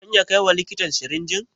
Zan iya kaiwa likitan sirinjin?